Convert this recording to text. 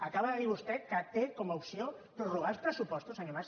acaba de dir vostè que té com a opció prorrogar els pressupostos senyor mas